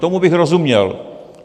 Tomu bych rozuměl.